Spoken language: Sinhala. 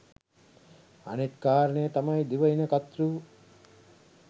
අනිත් කාරණය තමයි දිවයින කතෘ